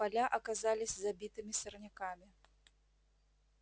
поля оказались забитыми сорняками